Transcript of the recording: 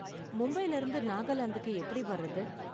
மும்பைல இருந்து நாகாலாந்துக்கு எப்படி வர்றது?